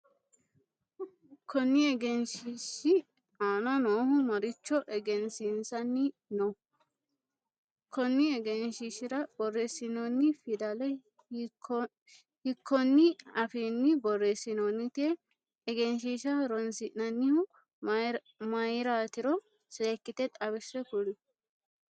Konni egenshiishi aanna noohu maricho egensiisanni Nooho? Konni egenshiishira boreesinoinni fidale hiikonni afiinni boreesinoonnite? Egenshiisha horoonsi'nannihu mayiraatiro seekite xawise kuli?